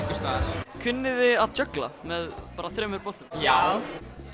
kunnið þið að djöggla með þremur boltum já